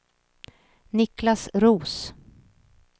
Niklas Roos